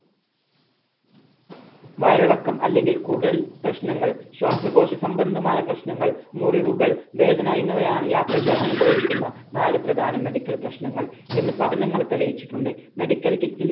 വയറിളക്കം അല്ലെങ്കിൽ കൂടുതൽ പ്രശ്നങ്ങൾ ശ്വാസകോശ സംബന്ധമായ പ്രശ്നങ്ങൾ മുറിവുകൾ വേദന എന്നിവയാണ് യാത്രക്കാർ അനുഭവിക്കുന്ന നാല് പ്രധാന medical പ്രശ്നങ്ങൾ എന്ന് പഠനങ്ങൾ തെളിയിച്ചിട്ടുണ്ട് medical kit ൽ